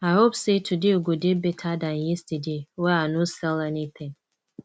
i hope sey today go dey beta dan yesterday wey i no sell anytin